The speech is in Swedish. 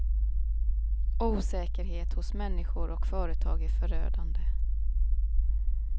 Osäkerhet hos människor och företag är förödande.